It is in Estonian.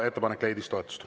Ettepanek leidis toetust.